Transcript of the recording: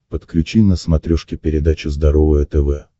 подключи на смотрешке передачу здоровое тв